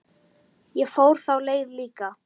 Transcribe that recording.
Ég fór þá leið líka.